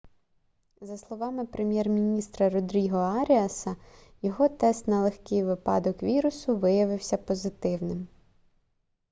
за словами прем'єр-міністра родріго аріаса його тест на легкий випадок вірусу виявився позитивним